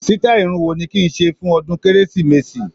Sítáì irun wo ni kí n ṣe fún ọdún Kérésìmesì?